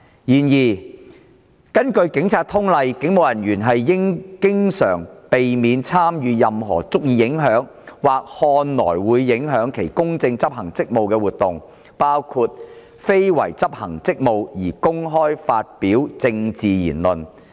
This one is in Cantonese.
然而，根據《警察通例》，警務人員應經常避免參與任何足以影響或看來會影響其公正執行職務的活動，包括非為執行職務而公開發表政治言論。